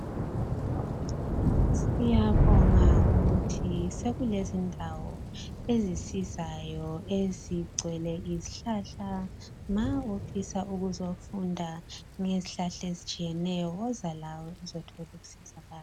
Siyabonga ukuthi sekulezindawo ezisizayo ezigcwele izihlahla ma ufisa ukuzofunda ngezihlahla ezitshiyeneyo woza lawe uzothola ukusizakala.